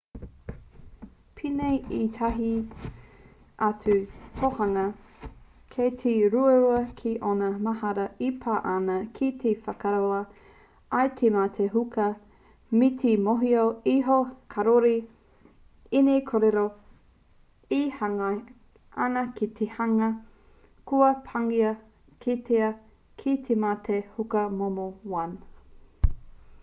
pēnei i ētahi atu tōhunga kei te ruarua kē ōna mahara e pā ana ki te whakaora i te mate huka me te mōhio iho kāore ēnei kōrero e hāngai ana ki te hunga kua pāngia kētia ki te mate huka momo 1